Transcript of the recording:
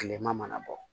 Kilema mana bɔ